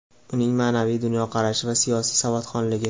uning ma’naviy dunyoqarashi va siyosiy savodxonligi.